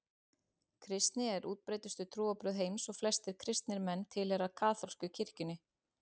Kristni er útbreiddustu trúarbrögð heims og flestir kristnir menn tilheyra kaþólsku kirkjunni.